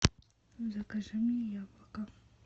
закажи мне яблоко